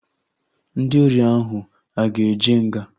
Ndị ori ahụ aga eje nga?